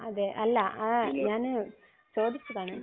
അതെ. അല്ല. ആഹ് ഞാൻ ചോദിച്ചതാണ്.